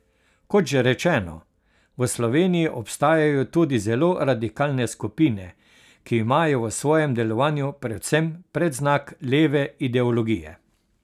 Kot že rečeno, v Sloveniji obstajajo tudi zelo radikalne skupine, ki imajo v svojem delovanju predvsem predznak leve ideologije.